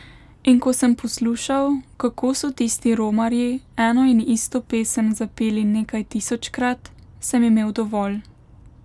In ko sem poslušal, kako so tisti romarji eno in isto pesem zapeli nekaj tisočkrat, sem imel dovolj.